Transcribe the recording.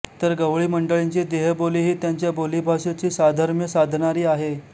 तर गवळी मंडळींची देहबोलीही त्यांच्या बोलीभाषेशी साधर्म्य साधणारी आहे